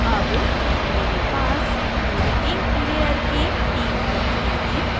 अब मेरे पास मेरी ink layer की 3 प्रतियाँ हैं